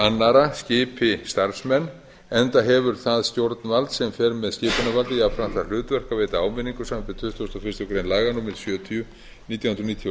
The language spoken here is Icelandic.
annarra skipi starfsmenn enda hefur það stjórnvald sem fer með skipunarvaldið jafnframt það hlutverk að veita áminningu samkvæmt tuttugustu og fyrstu greinar allar sjötíu nítján hundruð níutíu og sex